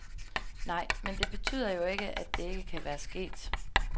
Nej, men det betyder jo ikke, at det ikke kan være sket.